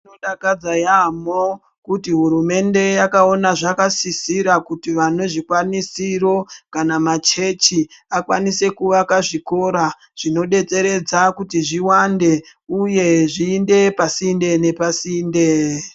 Zvinodakadza yaamho kuti hurumende yakaona zvakasisira kuti vane zvikwanisiro kana machechi akwanise kuvaka zvikora zvinodetseredze kuti zviwande uye kuti zviende pasinde.